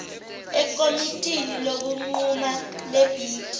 ekomitini lokunquma lebhidi